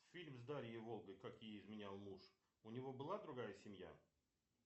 фильм с дарьей волгой как ей изменял муж у него была другая семья